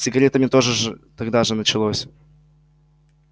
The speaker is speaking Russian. с сигаретами тогда же началось